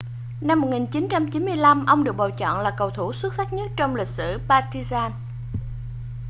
năm 1995 ông được bầu chọn là cầu thủ xuất sắc nhất trong lịch sử partizan